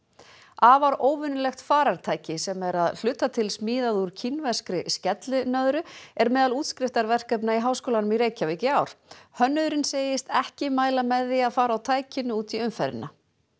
afar óvenjulegt farartæki sem er að hluta til smíðað úr kínverskri skellinöðru er meðal útskriftarverkefna í Háskólanum í Reykjavík í ár hönnuðurinn segist ekki mæla með því að fara á tækinu út í umferðina